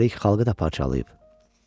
üstəlik xalqı da parçalayıb.